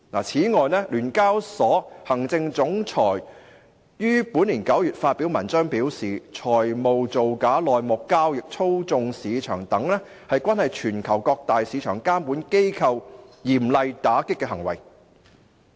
此外，聯交所行政總裁於本年9月發表文章表示，財務造假、內幕交易、操縱市場等均是全球各大市場監管機構嚴厲打擊的行為。